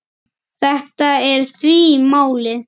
Þetta er því málið.